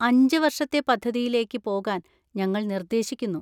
അഞ്ച് വർഷത്തെ പദ്ധതിയിലേക്ക് പോകാൻ ഞങ്ങൾ നിർദ്ദേശിക്കുന്നു.